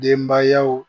Denbayaw